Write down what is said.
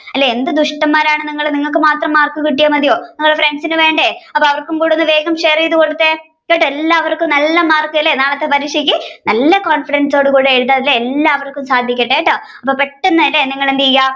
അല്ലെ എന്ത് ദുഷ്ടന്മാർ ആണ് നിങ്ങൾ നിങ്ങൾക്ക് മാത്രം മാർക്ക് കിട്ടിയ മതിയോ നിങ്ങളുടെ friends ന് വേണ്ടേ അപ്പൊ അവർക്കും കൂടി ഒന്ന് വേഗം share ചെയ്തു കൊടുത്തേ എല്ലാവര്ക്കും നല്ല മാർക്ക് അല്ലെ നാളത്തെ പരീക്ഷക്ക് നല്ല confidence ഓട് കൂടി എഴുതാൻ സാധിക്കട്ടെട്ടോ എല്ലാരും പെട്ടെന്നു എന്തെയ്യ